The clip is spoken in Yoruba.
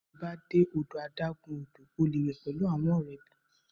Nigba ti a ba de ọdọ adagun odo, o le we pẹlu awọn ọrẹ rẹ bi o ṣe fẹ